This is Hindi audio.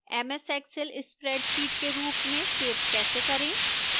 ms excel spreadsheet के रूप में सेव कैसे करें